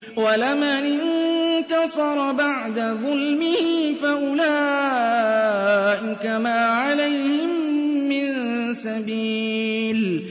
وَلَمَنِ انتَصَرَ بَعْدَ ظُلْمِهِ فَأُولَٰئِكَ مَا عَلَيْهِم مِّن سَبِيلٍ